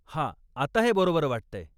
हा, आता हे बरोबर वाटतंय.